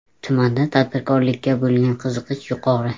Tumanda tadbirkorlikka bo‘lgan qiziqish yuqori.